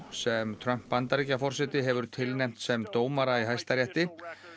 sem Trump Bandaríkjaforseti hefur tilnefnt sem dómara í Hæstarétti